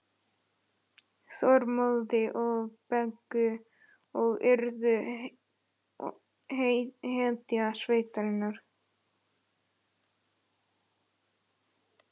Þormóði og Beggu og yrði hetja sveitarinnar.